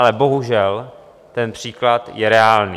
Ale bohužel ten příklad je reálný.